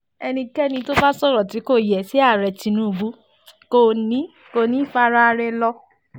ẹnikẹ́ni tó bá sọ̀rọ̀ tí kò yẹ sí ààrẹ tinubu kò ní kò ní í faraà rẹ̀ lọ